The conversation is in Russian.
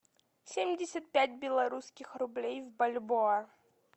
семьдесят пять белорусских рублей в бальбоа